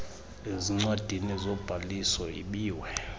ezincwadini zobhaliso ibiwe